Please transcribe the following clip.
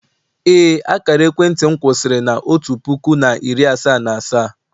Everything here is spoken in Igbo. ee, akara ekwentị m kwụsịrị na otu puku na iri asaa na asaa